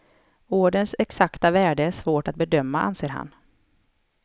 Orderns exakta värde är svår att bedöma, anser han.